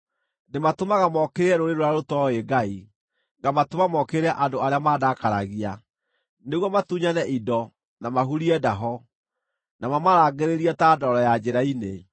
Ndĩmatũmaga mookĩrĩre rũrĩrĩ rũrĩa rũtooĩ Ngai, ngamatũma mookĩrĩre andũ arĩa mandakaragia, nĩguo matunyane indo, na mahurie ndaho, na mamarangĩrĩrie ta ndoro ya njĩra-inĩ.